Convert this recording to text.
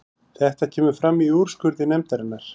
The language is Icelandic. Þetta kemur fram í úrskurði nefndarinnar